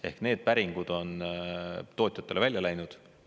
Ehk need päringud on tootjatele välja läinud.